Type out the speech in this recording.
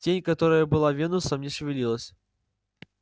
тень которая была венусом не шевелилась